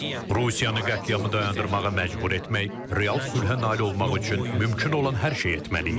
Rusiyanı qətliamı dayandırmağa məcbur etmək, real sülhə nail olmaq üçün mümkün olan hər şeyi etməliyik.